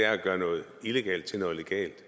at gøre noget illegalt til noget legalt